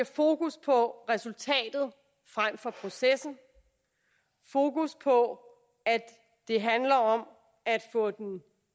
fokus på resultatet frem for processen fokus på at det handler om at få den